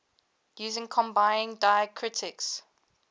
using combining diacritics